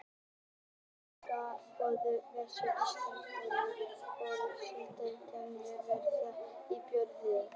Áður en Englendingar hófu verslun á Íslandi, voru flestar vörur seldar gegnum verslunarmiðstöðina í Björgvin.